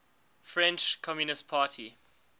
french communist party